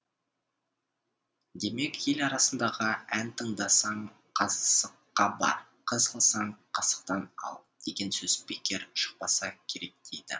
демек ел арасындағы ән тыңдасаң қасыққа бар қыз алсаң қасықтан ал деген сөз бекер шықпаса керек дейді